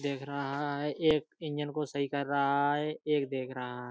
देख रहा है। एक इंजन को सही कर रहा है। एक देख रहा --